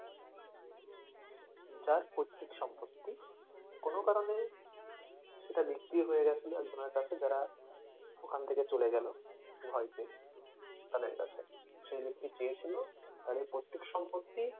যার পৈতৃক সম্পত্তি কোনো কারনে সেটা বিক্রি হয়ে গেছিলো একজনের কাছে যারা ওখান থেকে চলে গেলো ভয় পেয়ে তাদের কাছে সে ব্যক্তি চেয়েছিল তাদের পৈতৃক সম্পত্তি,